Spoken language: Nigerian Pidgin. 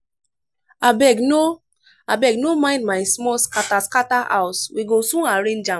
abeg no abeg no mind my small scatter scatter house we go soon arrange am.